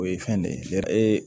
O ye fɛn de ye e